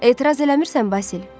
Etiraz eləmirsən Basil?